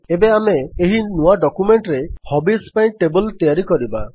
ଏବେ ଆମେ ଏହି ନୂଆ ଡକ୍ୟୁମେଣ୍ଟରେ ହବିଜ୍ ପାଇଁ ଟେବଲ୍ ତିଆରି କରିବା